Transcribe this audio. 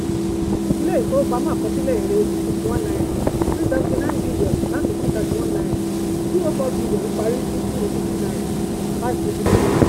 ilé-ìfowópamọ́ àkọsílẹ̀ èrè fifty one naira three seventy nine billion láti two thirty one naira two oh four billion parí ní two eighty two five eighty three billion.